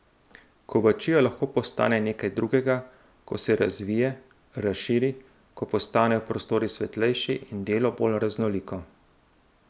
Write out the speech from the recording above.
Kovačija lahko postane nekaj drugega, ko se razvije, razširi, ko postanejo prostori svetlejši in delo bolj raznoliko.